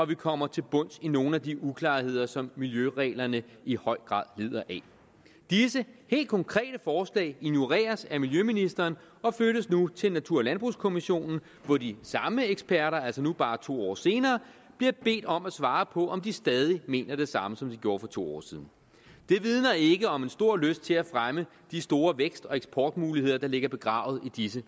vi kommer til bunds i nogle af de uklarheder som miljøreglerne i høj grad lider af disse helt konkrete forslag ignoreres af miljøministeren og flyttes nu til natur og landbrugskommissionen hvor de samme eksperter altså nu bare to år senere bliver bedt om at svare på om de stadig mener det samme som de gjorde for to år siden det vidner ikke om en stor lyst til at fremme de store vækst og eksportmuligheder der ligger begravet i disse